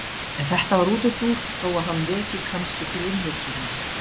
en þetta var útúrdúr þó að hann veki kannski til umhugsunar